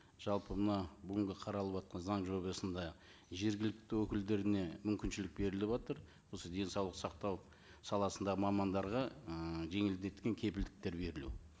жалпы мына бүгінгі қаралыватқан заң жобасында жергілікті өкілдеріне мүмкіншілік беріліватыр осы денсаулық сақтау саласында мамандарға ыыы жеңілдеткен кепілдіктер берілу